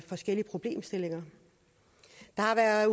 forskellige problemstillinger der er